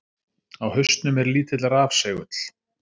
Á hausnum er lítill rafsegull.